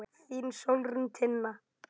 Þín Sólrún Tinna.